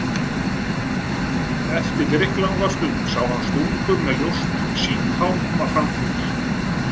Eftir drykklanga stund sá hann svo stúlku með ljóst, sítt hár koma fram fyrir.